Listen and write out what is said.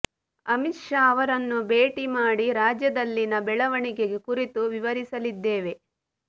ಅಮಿತ್ ಶಾ ಅವರನ್ನು ಭೇಟಿ ಮಾಡಿ ರಾಜ್ಯದಲ್ಲಿನ ಬೆಳವಣಿಗೆ ಕುರಿತು ವಿವರಿಸಲಿದ್ದೇವೆ